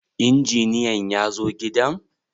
Injiniyan yazo gidan?